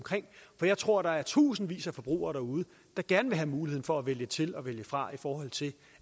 for jeg tror at der er tusindvis af forbrugere derude der gerne vil have muligheden for at vælge til og vælge fra i forhold til